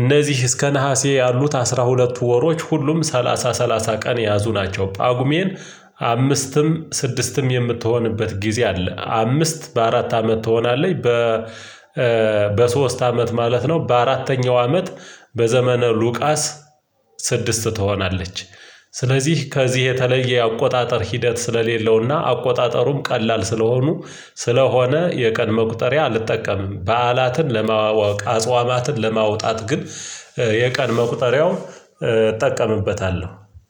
እነዚህ እስከ ነሀሴ ያሉት አስራ ሁለቱ ወሮች ሁሉም ሰላሳ ሰላሳ ቀን የያዙ ናቸው ጳጉሜን አምስትም ስድስትም የምትሆንበት ጊዜ አለ። አምስት በአራት አመት ትሆናለች በ በሶስት አመት ማለት ነው። በአራተኛው አመት በዘመነ ሉቃስ ስድስት ትሆናለች። ስለዚህ ከዚህ የተለየ የአቆጣጠር ሂደት ስለሌለውና አቆጣጠሩም ቀላል ስለሆኑ ስለሆነ የቀን መቁጠሪያ አልጠቀምም በዓላትን ለማወቅ አጽዋማትን ለማውጣት ግን የቀን መቁጠሪያው እጠቀምበታለሁ።